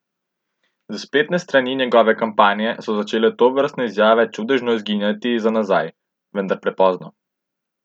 S spletnih strani njegove kampanje so začele tovrstne izjave čudežno izginjati za nazaj, vendar prepozno.